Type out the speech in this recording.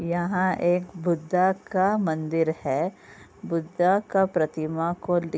यहाँ एक बुद्धा का मंदिर है। बुद्धा का प्रतिमा को दे --